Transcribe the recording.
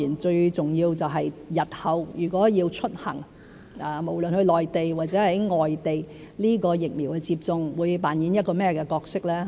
最重要就是日後如果要出行，無論到內地或外地，疫苗接種會扮演一個甚麼角色。